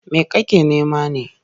Me kake nema ne?